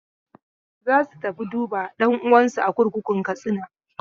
Za su tafi duba ɗan'uwansu a kurkukun Katsina.